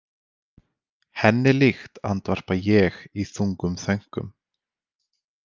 Henni líkt, andvarpa ég í þungum þönkum.